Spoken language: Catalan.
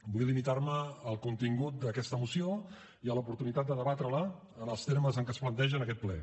vull limitar me al contingut d’aquesta moció i a l’oportunitat de debatre la en els termes en què es planteja en aquest ple